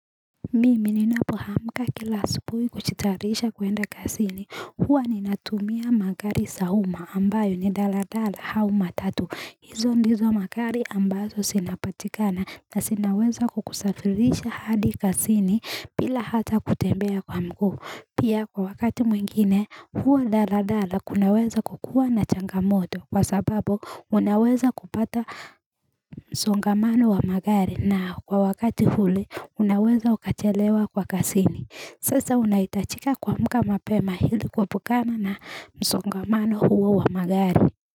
Mimi ninapoamka kila asubui kuchitayarisha kuenda kasini huwa ninatumia magari sa uma ambayo ni dala dala hau matatu hizo ndizo magari ambazo sinapatikana na sinaweza kukusafirisha hadi kasini bila hata kutembea kwa mguu pia kwa wakati mwingine huwa dala dala kunaweza kukuwa na changamoto kwa sababu unaweza kupata msongamano wa magari na kwa wakati huu unaweza ukachelewa kwa kasini Sasa unaitachika kuamka mapema ili kuepukana na msongamano huo wa magari.